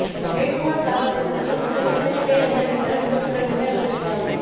வேட்புமனு தாக்கல் செய்தவர்கள் மொத்தம் எத்தனை பேர் என்ற விபரம் இன்னும் சில நிமிடங்களில் வெளியாகும்